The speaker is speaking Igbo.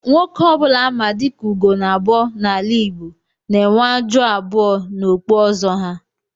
Nwoke obula á ma diká "ùgonabọ " n'ala Igbo n'enwe ájụ́ abụọ n'okpú ọzọ ha